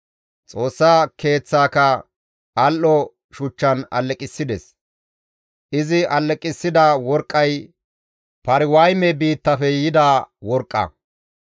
Xoossa Keeththaaka al7o shuchchan alleqissides; izi alleqissida worqqay Pariwayme biittafe yida worqqa.